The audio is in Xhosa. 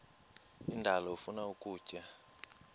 indalo ifuna ukutya